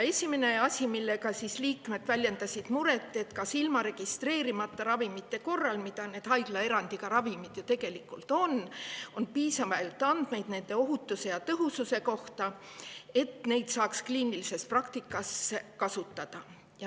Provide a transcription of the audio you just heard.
Esimene asi, mille üle liikmed muret väljendasid, oli, et kas registreerimata ravimite kohta, mida need haiglaerandiga ravimid ju tegelikult on, on piisavalt andmeid nende ohutuse ja tõhususe kohta, et neid saaks kliinilises praktikas kasutada.